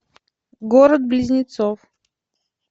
город близнецов